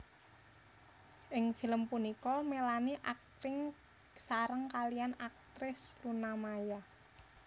Ing film punika Melanie akting sareng kaliyan aktris Luna Maya